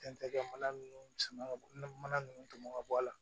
Tɛntɛ mana ninnu san ka mana nunnu tɔmɔ ka bɔ a la